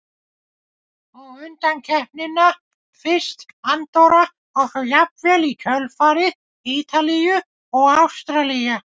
Og undankeppnina, fyrst Andorra og svo jafnvel í kjölfarið Ítalíu og Ástralía?